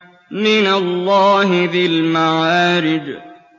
مِّنَ اللَّهِ ذِي الْمَعَارِجِ